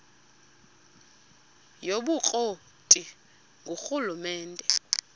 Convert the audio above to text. yobukro ti ngurhulumente